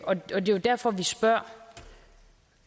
og det er jo derfor vi spørger